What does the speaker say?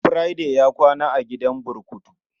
Friday ya kwana a gidan burkutu.